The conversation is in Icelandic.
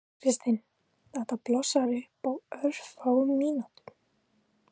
Kristinn: Þetta blossar upp á örfáum mínútum?